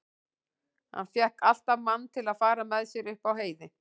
Hann fékk alltaf mann til að fara með sér upp á heiði.